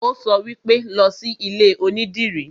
Ó sọ wípé, 'Lọ sí ilé onídìrí'